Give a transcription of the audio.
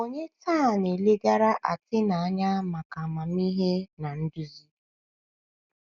Ònye taa na - na - elegara Atena anya maka amamihe na nduzi?